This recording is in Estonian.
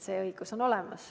See õigus on olemas.